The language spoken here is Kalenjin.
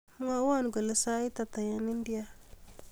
Mwowo kole sait ata eng India